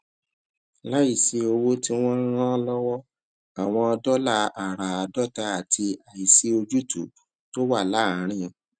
láìsí owó tí wọn ń rán lọwọ àwọn dólà àràádọta àti àìsí ojútùú tó wà láàárín